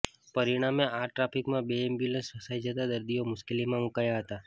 પરિણામે આ ટ્રાફિકમાં બે એમ્બ્યુલન્સ ફસાઈ જતા દર્દીઓ મુશ્કેલીમાં મુકાયા હતા